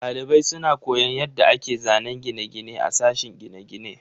Dalibai suna koyon yadda ake zanen gine-gine a sashen gine-gine.